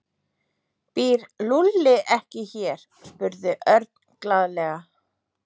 Býr Lúlli ekki hér? spurði Örn glaðlega.